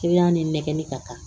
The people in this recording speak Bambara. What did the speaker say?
ni nɛgɛnni ka kan